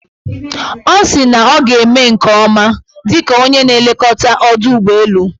Ọ sị na ọ ga-eme nke ọma dịka onye na-elekọta ọdọụgbọelu.